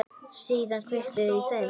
Síðan var kveikt í þeim.